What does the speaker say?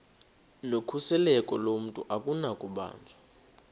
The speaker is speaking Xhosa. nokhuseleko lomntu akunakubanjwa